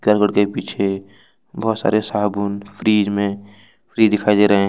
के पीछे बहुत सारे साबुन फ्रिज में फ्री दिखाई दे रहे है।